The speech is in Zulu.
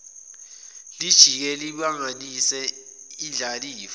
lijike libangise indlalifa